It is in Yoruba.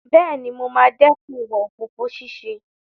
Bẹ́ẹ̀ni, mo máa dẹ́kun ìwà òfófó ṣíṣe.